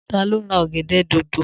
Ta ló ra ọ̀gẹ̀dẹ̀ dòdò?